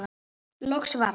Loks varð